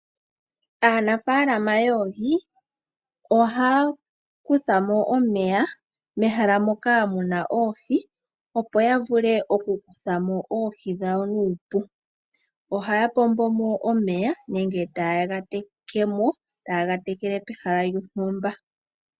Aanafalama yoohi ohaya kuthamo omeya mehala moka muna oohi opo yavule okukuthamo oohi dhawo nuupu. Ohaya pombomo omeya nenge taye ga tekemo taye ga tekele pehala lyontumba.